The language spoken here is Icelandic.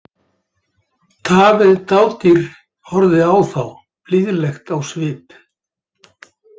Tamið dádýr horfði á þá blíðlegt á svip.